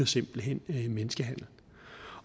simpelt hen ligner menneskehandel